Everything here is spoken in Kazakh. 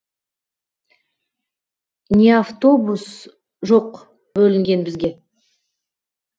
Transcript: не автобус жоқ бөлінген бізге